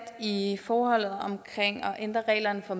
i forholdet omkring at ændre reglerne for